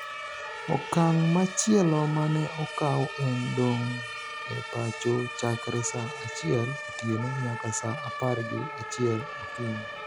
okang' machielo mane okaw en dong' e pacho chakre sa achiel otieno nyaka sa apar gi achiel okinyi